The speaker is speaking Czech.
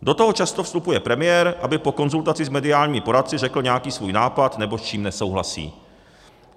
Do toho často vstupuje premiér, aby po konzultaci s mediálními poradci řekl nějaký svůj nápad, nebo s čím nesouhlasí.